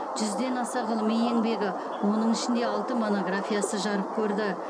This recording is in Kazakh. жүзден аса ғылыми еңбегі оның ішінде алты монографиясы жарық көрді